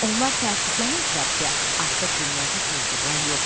Onlar təəssüflənərdilər ki, artıq dünyada quldurlar yoxdur.